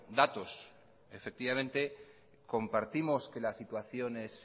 datos compartimos que la situación es